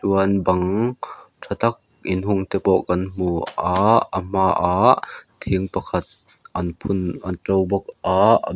chuan bang tha tak in hung te pawh kan hmu a a hmaah thing pakhat an phun a to bawk a .